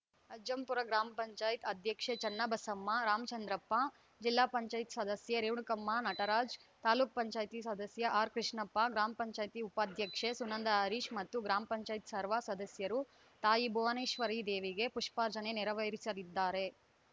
ಅಜ್ಜಂಪುರ ಗ್ರಾಮ ಪಂಚಾಯತ್ ಅಧ್ಯಕ್ಷೆ ಚೆನ್ನಬಸಮ್ಮ ರಾಮಚಂದ್ರಪ್ಪ ಜಿಲ್ಲಾ ಪಂಚಾಯತ್ ಸದಸ್ಯೆ ರೇಣುಕಮ್ಮ ನಟರಾಜ್‌ ತಾಲೂಕ್ ಪಂಚಾಯತಿ ಸದಸ್ಯ ಆರ್‌ಕೃಷ್ಣಪ್ಪ ಗ್ರಾಮ ಪಂಚಾಯತಿ ಪಾಧ್ಯಕ್ಷೆ ಸುನಂದ ಹರೀಶ್‌ ಮತ್ತು ಗ್ರಾಮ ಪಂಚಾಯತ್ ಸರ್ವ ಸದಸ್ಯರು ತಾಯಿ ಭುವನೇಶ್ವರಿದೇವಿಗೆ ಪುಷ್ಪಾರ್ಚನೆ ನೆರವೇರಿಸಲಿದ್ದಾರೆ